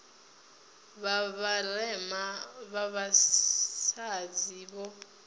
vha vharema vha vhasadzi vho